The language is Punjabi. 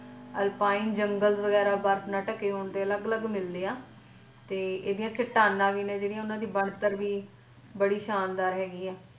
ਅਲਪਾਇਨ ਜੰਗਲ ਵਗੈਰਾ ਬਰਫ਼ ਨਾਲ ਢਕੇ ਹੁਣ ਦੇ ਅਲੱਗ ਅਲੱਗ ਮਿਲਦੇ ਆ ਇਹਦੀਆਂ ਚੱਟਾਨਾਂ ਵੀ ਨੇ ਜਿਹੜੀਆਂ ਓਹਨਾ ਦੀਆ ਬਣਤਰ ਵੀ ਬੜੀ ਸ਼ਾਨਦਾਰ ਹੈਗੀ ਆ।